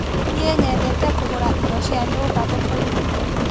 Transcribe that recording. Niĩ nyendete kũgũra indo cia nyumba thokoinĩ.